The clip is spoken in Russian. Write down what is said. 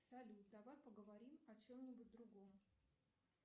салют давай поговорим о чем нибудь другом